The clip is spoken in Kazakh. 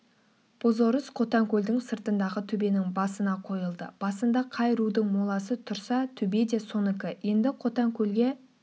бозорыс қотанкөлдің сыртындағы төбенің басына қойылды басында қай рудың моласы тұрса төбе де соныкі енді қотанкөлге